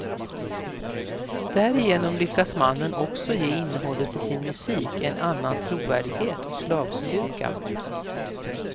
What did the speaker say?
Därigenom lyckas mannen också ge innehållet i sin musik en annan trovärdighet och slagstyrka.